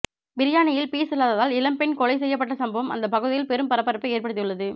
பிரியாணியில் பீஸ் இல்லாததால் இளம்பெண் கொலை செய்யப்பட்ட சம்பவம் அந்த பகுதியில் பெரும் பரபரப்பை ஏற்படுத்தியுள்ளது